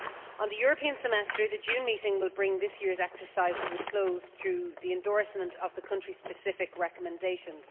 On the European Semester, the June meeting will bring this year's exercise to a close through the endorsement of the country specific recommendations.